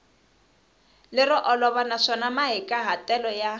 lero olova naswona mahikahatelo ya